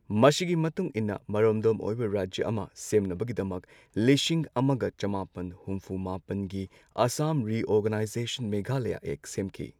ꯃꯁꯤꯒꯤ ꯃꯇꯨꯡ ꯏꯟꯅ ꯃꯔꯣꯝꯗꯣꯝ ꯑꯣꯏꯕ ꯔꯥꯖ꯭ꯌ ꯑꯃ ꯁꯦꯝꯅꯕꯒꯤꯗꯃꯛ ꯂꯤꯁꯤꯡ ꯑꯃꯒ ꯆꯃꯥꯄꯟ ꯍꯨꯝꯐꯨ ꯃꯥꯄꯟꯒꯤ ꯑꯁꯥꯝ ꯔꯤꯑꯣꯔꯒꯅꯥꯏꯖꯦꯁꯟ ꯃꯦꯘꯥꯂꯌꯥ ꯑꯦꯛ ꯁꯦꯝꯈꯤ꯫